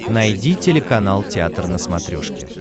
найди телеканал театр на смотрешке